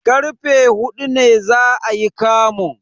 Karfe huɗu ne za ayi kamun.